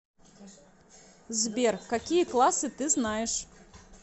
сбер какие классы ты знаешь